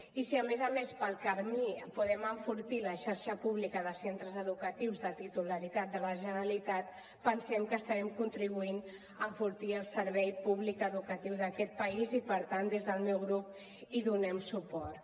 i si a més a més pel camí podem enfortir la xarxa pública de centres educatius de titularitat de la generalitat pensem que estarem contribuint a enfortir el servei públic educatiu d’aquest país i per tant des del meu grup hi donem suport